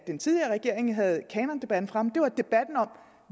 den tidligere regering havde kanondebatten fremme var debatten om